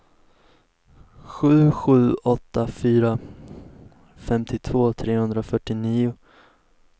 sju sju åtta fyra femtiotvå trehundrafyrtionio